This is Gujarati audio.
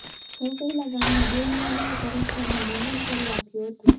સૌ પહેલાં ગામના બે યુવાનોએ પરસ્પરને મૂંડન કરી આપ્યું હતું